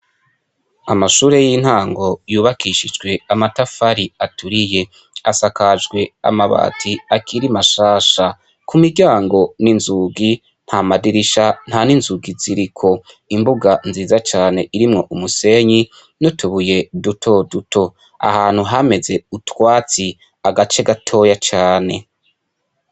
Amashure y'intango yubakishijwe amatafari aturiye, asakajwe amabati akiri mashasha. Ku miryango n'inzugi nta madirisha nta ni nzugi ziriko, imbuga nziza cane; irimwo umusenyi n'utubuye duto duto. Ahantu hameze utwatsi agace gatoyi cane.